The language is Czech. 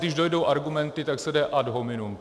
Když dojdou argumenty, tak se jde ad hominem.